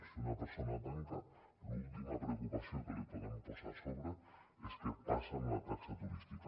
si una persona tanca l’última preocupació que li podem posar a sobre és què passa amb la taxa turística